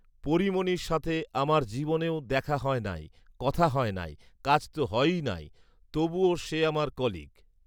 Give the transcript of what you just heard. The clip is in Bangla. পরীমণির সাথে আমার জীবনেও দেখা হয় নাই, কথা হয় নাই, কাজ তো হয়ই নাই; তবু ও সে আমার কলিগ